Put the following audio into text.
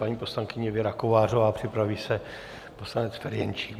Paní poslankyně Věra Kovářová, připraví se poslanec Ferjenčík.